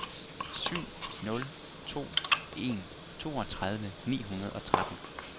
syv nul to en toogtredive ni hundrede og tretten